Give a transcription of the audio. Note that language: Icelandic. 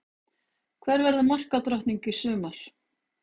Hver verður markadrottning í sumar?